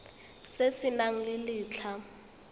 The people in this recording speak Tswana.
se se nang le letlha